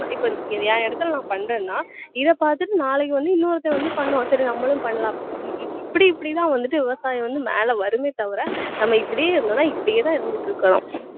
இப்ப என் இடத்துல நான் பண்றேன்னா இதை பாத்துட்டு நாளைக்கு வந்து இன்னொருத்தன் வந்து பண்ணுவான் சரி நம்மளும் பண்ணலாம் அப்படின்னு இப்~ இப்படி இப்படி தான் வந்துட்டு விவசாயம் வந்து மேல வருமே தவிர நம்ம இப்படியே இருந்தோம்னா இப்படியே தான் இருந்துட்டு இருக்கணும்